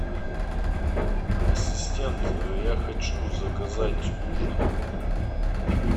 ассистент я хочу заказать ужин